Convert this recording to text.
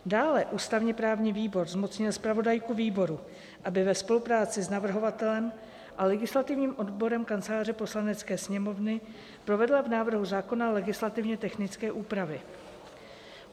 Dále ústavně-právní výbor zmocnil zpravodajku výboru, aby ve spolupráci s navrhovatelem a legislativním odborem Kanceláře Poslanecké sněmovny provedla v návrhu zákona legislativně technické úpravy.